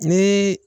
Ni